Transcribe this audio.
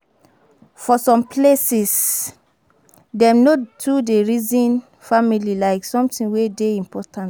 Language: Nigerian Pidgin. For some places, dem no too dey reason family like something wey dey important